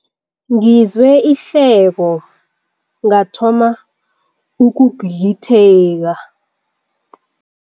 Ngizwe ihleko ngathoma ukugigitheka.